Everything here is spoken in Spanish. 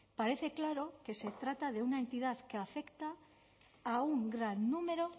parece claro que se trata de una entidad que afecta a un gran número